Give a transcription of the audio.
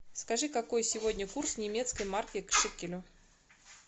скажи какой сегодня курс немецкой марки к шекелю